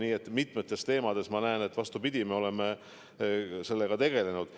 Nii et mitmetes teemades ma näen, et vastupidi, me oleme selle kõigega tegelenud.